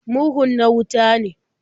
Murhun na wuta ne.